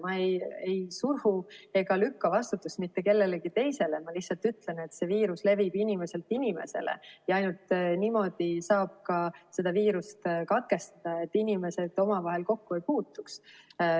Ma ei suru ega lükka vastutust mitte kellelegi teisele, ma lihtsalt ütlen, et viirus levib inimeselt inimesele ja ainult niimoodi saab seda viirusahelat katkestada, et inimesed omavahel kokku ei puutuks.